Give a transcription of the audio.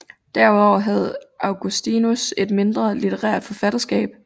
Derudover havde Augustinus et mindre litterært forfatterskab